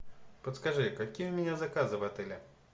подскажи какие у меня заказы в отеле